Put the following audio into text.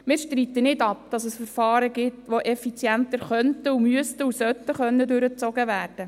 Wir streiten nicht ab, dass es Verfahren gibt, die effizienter durchgezogen werden könnten, müssten und sollten.